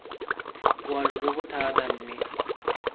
boalo jo bo thata mme